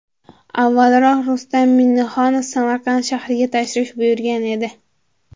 Avvalroq Rustam Minnixonov Samarqand shahriga tashrif buyurgan edi .